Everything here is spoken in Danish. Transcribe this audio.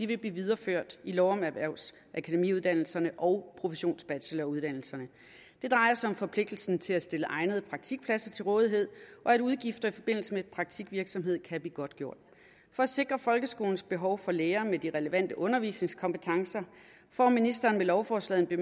vil blive videreført i lov om erhvervsakademiuddannelserne og professionsbacheloruddannelserne det drejer sig om forpligtelsen til at stille egnede praktikpladser til rådighed og at udgifter i forbindelse med praktikvirksomhed kan blive godtgjort for at sikre folkeskolens behov for lærere med de relevante undervisningskompetencer får ministeren med lovforslaget en